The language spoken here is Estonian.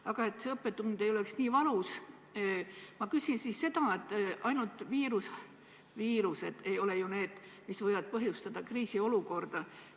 Aga et see õppetund ei oleks nii valus, küsin seda, et ainult viirused ei ole ju need, mis võivad põhjustada kriisiolukorda.